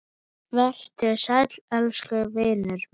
Vertu sæll elsku vinur minn.